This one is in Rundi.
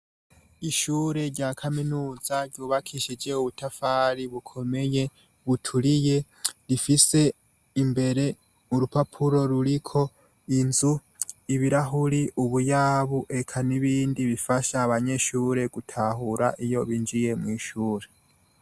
Ishure rya Kaminuza ryubakishije ubutafari bukomeye buturiye rifise imbere nurupapuro ruriko inzu, ibirahuri, ubuyabu eka nibindi bifasha abanyeshure gutahura iyo binjiye mwishure.